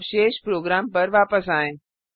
अब शेष प्रोग्राम पर वापस आएँ